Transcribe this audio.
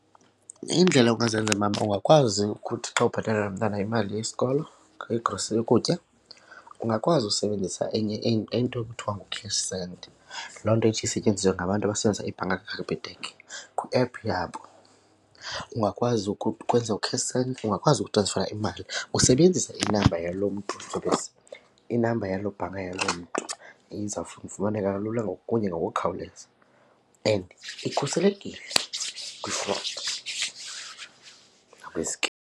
Iindlela ongazenza mama ungakwazi ukuthi xa ubhatalela umntana imali yesikolo, igrosa yokutya ungakwazi usebenzisa enye into ekuthiwa ngu-cash send. Loo nto ithi isetyenziswe ngabantu abasenza ibhanka kaCapitec kwiephu yabo. Ungakwazi ukwenza u-cash send, ungakwazi ukutransfera imali usebenzisa inamba yaloo mntu , inamba yaloo bhanka yaloo mntu. Ifumaneka lula kunye nangokukhawuleza and ikhuselekile kwi-fraud .